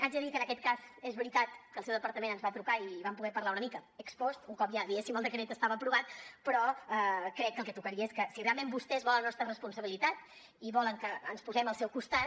haig de dir que en aquest cas és veritat que el seu departament ens va trucar i vam poder parlar una mica ex post un cop ja diguéssim el decret estava aprovat però crec que el que tocaria és que si realment vostès volen la nostra responsabilitat i volen que ens posem al seu costat